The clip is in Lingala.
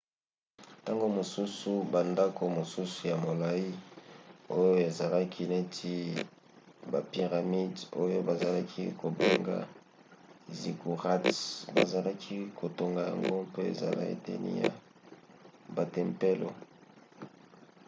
ntango mosusu bandako mosusu ya molai oyo ezalaki neti bapiramide oyo bazalaki kobenga ziggurats bazalaki kotonga yango mpo ezala eteni ya batempelo